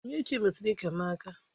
Onyinyechi metụrụ iké m aka